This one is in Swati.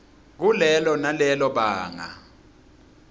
kulelo nalelo banga